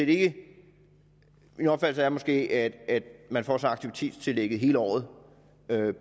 det min opfattelse er måske at man får aktivitetstillægget hele året